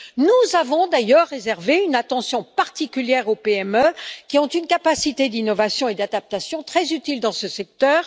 Nous avons d'ailleurs réservé une attention particulière aux PME qui ont une capacité d'innovation et d'adaptation très utile dans ce secteur.